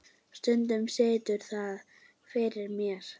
Stundum situr það fyrir mér.